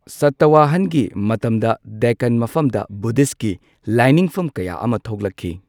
ꯁꯇꯋꯥꯍꯟꯒꯤ ꯃꯇꯝꯗ ꯗꯦꯛꯀꯥꯟ ꯃꯐꯝꯗ ꯕꯨꯙꯤꯁꯠꯀꯤ ꯂꯥꯏꯅꯤꯡꯐꯝ ꯀꯌꯥ ꯑꯃ ꯊꯣꯛꯂꯛꯈꯤ꯫